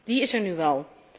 Die is er nu wel.